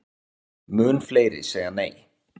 Mun fleiri segja nei